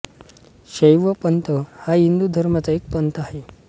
शैव पंथ हा हिंदू धर्माचा एक पंथ आहे